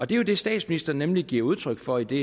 det er jo det statsministeren nemlig giver udtryk for i det